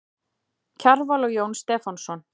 Kjarval og Jón Stefánsson.